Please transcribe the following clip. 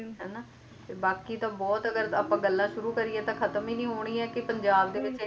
ਹਨਾਂ ਤੇ ਬਾਕੀ ਤਾਂ ਬਹੁਤ ਅਗਰ ਆਪਾਂ ਗੱਲਾਂ ਸ਼ੁਰੂ ਕਰੀਏ ਤਾਂ ਖਤਮ ਹੀ ਨਹੀਂ ਹੋਣਗੀਆਂ ਕਿ ਪੰਜਾਬ ਦੇ ਵਿੱਚ ਇੰਨੀਆਂ ਜਗ੍ਹਾ ਘੁੰਮਣ ਦੇ ਲਈ